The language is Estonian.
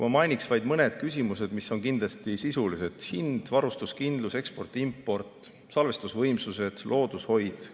Ma mainin vaid mõned küsimused, mis on kindlasti sisulised: hind, varustuskindlus, eksport ja import, salvestusvõimsused, loodushoid.